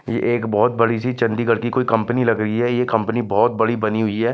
ये एक बहुत बड़ी-सी चण्डीगढ़ की कोई कम्पनी लग रही है ये कम्पनी बहुत बड़ी बनी हुई है।